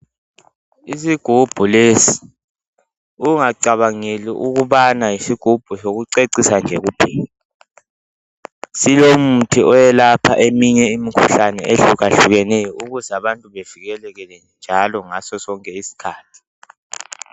Isigubhu lesi ungacabangeli ukubana yisigubhu sokucecisa nje kuphela silomuthi oyelapha eminye imkhuhlane ehlukahlukeneyo ukuze abantu bevikeleke njalo ngaso sonke isikhathi.